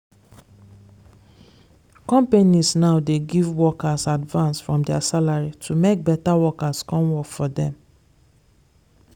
companies now dey give workers advance from their salary to make better workers come work for them.